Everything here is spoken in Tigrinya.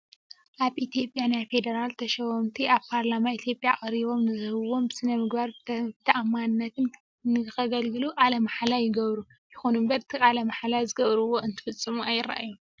ኣብ ኢትዮጵያ ናይ ፌደራል ተሸመውቲ ኣብ ፓርላማ ኢትዮጵያ ቀሪቦም ንህዝቦም ብስነምግባርን ብተኣማንነትን ንከገልግሉ ቃለ ማህላ ይገብሩ። ይኹን እምበር እቲ ቃለ ማህላ ዝገበርዎ እንትፍፅሙ ኣይረኣዩን።